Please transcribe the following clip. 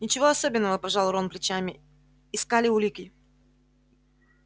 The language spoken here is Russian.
ничего особенного пожал рон плечами искали улики